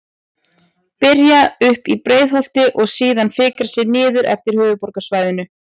Byrja uppi í Breiðholti og síðan fikra sig niður eftir höfuðborgarsvæðinu.